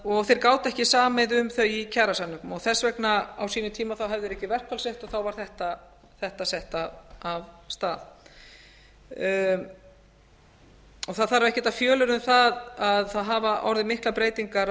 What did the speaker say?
og þeir gátu ekki samið um þau í kjarasamningum þess vegna á sínum tíma höfðu þeir ekki verkfallsrétt og þá var þetta sett af stað það þarf ekkert að fjölyrða um það að það hafa orðið miklar breytingar